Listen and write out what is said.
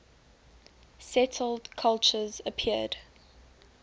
settled culture appeared